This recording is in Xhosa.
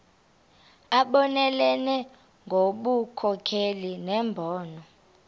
abonelele ngobunkokheli nembono